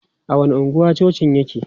A wani anguwa cocin yake?